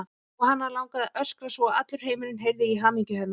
Og hana langaði að öskra svo að allur heimurinn heyrði í hamingju hennar.